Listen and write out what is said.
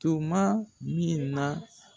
Tuma min na